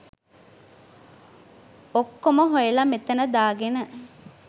ඔක්කොම හොයලා මෙතන දාගෙන